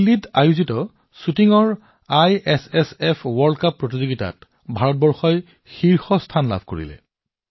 দিল্লীত অনুষ্ঠিত শ্বুটিঙত আইএছএছএফ বিশ্বকাপত ভাৰত শীৰ্ষ স্থানত আছে